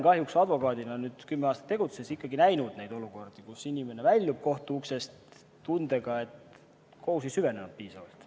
Kahjuks olen ma kümme aastat advokaadina tegutsedes näinud ka neid olukordi, kus inimene väljub kohtumaja uksest tundega, et kohus ei süvenenud piisavalt.